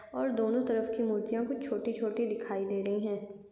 और दोनों तरफ की मूर्तिया भी छोटी छोटी दिखाई दे रही है।